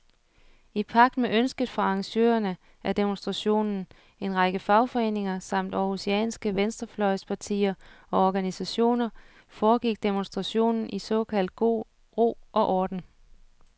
I pagt med ønsket fra arrangørerne af demonstrationen, en række fagforeninger samt århusianske venstrefløjspartier og organisationer, foregik demonstrationen i såkaldt god ro og orden.